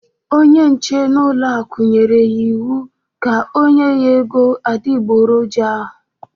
Onye nche n'ọlụaku nyere ya iwu ka ọ nye ya ego adịgboloja ahụ